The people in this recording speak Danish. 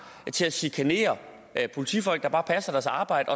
til at chikanere politifolk der bare passer deres arbejde